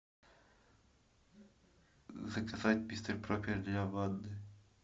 заказать мистер пропер для ванны